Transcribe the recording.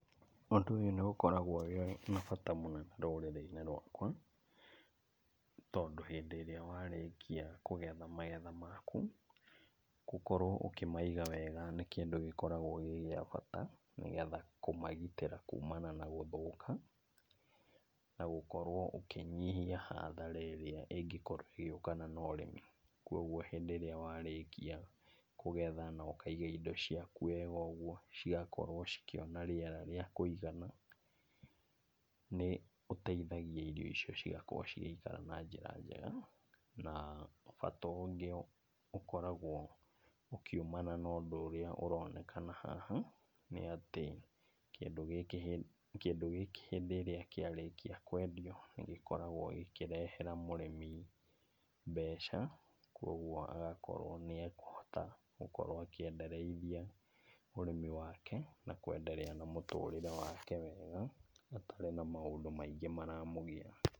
Ũndũ ũyũ nĩũkoragwo wĩna bata mũnene mũno rũrĩrĩ-inĩ rwakwa, tondũ hĩndĩ ĩrĩa warĩkia kũgetha magetha maku, gũkorwo ũkĩmaiga wega nĩ kĩndũ gĩkoragwo gĩ gĩa bata nĩgetha kũmagitĩra kumana na gũthũka, na gũkorwo ũkĩnyihia hathara ĩrĩa ĩngĩkorwo ĩgĩũkana na ũrĩmi. Kuoguo hĩndĩ ĩrĩa warĩkia kũgetha na ũkaiga indo ciaku wega ũguo cigakorwo cikĩona rĩera rĩa kũigana, nĩũteithagia irio icio cigakorwo cigĩikara na njĩra njega. Na, bata ũngĩ ũkoragwo ũkĩumana na ũndũ ũrĩa ũronekana haha nĩatĩ kĩndũ gĩkĩ hĩndĩ kĩndũ gĩkĩ hĩndĩ ĩrĩa kĩarĩkia kwendio nĩgĩkoragwo gĩkĩrehera mũrĩmi mbeca, kuoguo agakorwo nĩekũhota gũkorwo akĩendereithia ũrĩmi wake, na kwendelea na mũtũrĩre wake wega, atarĩ na maũndũ maingĩ maramũgia.